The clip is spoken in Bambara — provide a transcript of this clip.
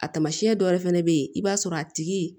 A taamasiyɛn dɔ wɛrɛ fɛnɛ bɛ ye i b'a sɔrɔ a tigi